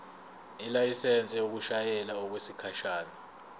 ilayisensi yokushayela okwesikhashana